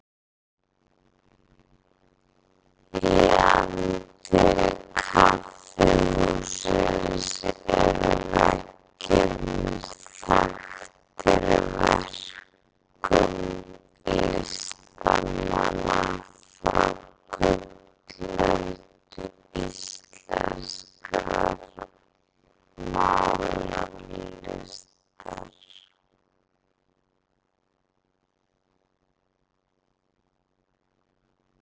Í anddyri kaffihússins eru veggirnir þaktir verkum listamanna frá gullöld íslenskrar málaralistar.